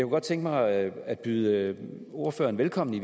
godt tænke mig at at byde ordføreren velkommen